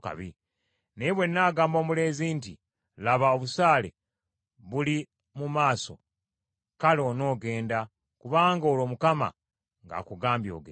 Naye bwe nnaagamba omulenzi nti, ‘Laba, obusaale buli mu maaso,’ kale onoogenda, kubanga olwo Mukama ng’akugambye ogende.